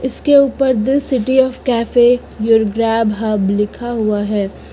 इसके ऊपर the city of cafe your grab hub लिखा हुआ है।